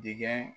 Dingɛ